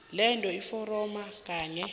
letha iforomo kanye